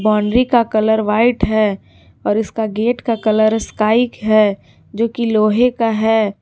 Boundary का colour white है और इसका गेट का कलर स्काइ है जो की लोहे का है।